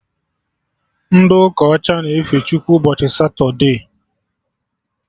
Ndị ụka ọcha na-efe Chukwu ụbọchị Satode